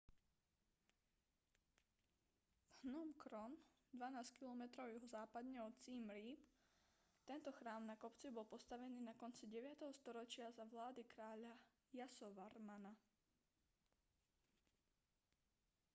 phnom krom 12 km juhozápadne od siem reap tento chrám na kopci bol postavený na konci 9. storočia za vlády kráľa yasovarmana